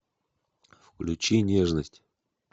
включи нежность